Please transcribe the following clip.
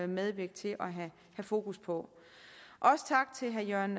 medvirke til at have fokus på også tak til herre jørgen